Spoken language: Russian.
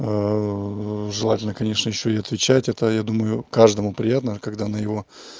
желательно конечно ещё и отвечать это я думаю каждому приятно когда на его